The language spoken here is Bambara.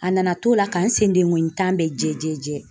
A nana to la ka n sen dengɔnni tan bɛ jɛ jɛ jɛ.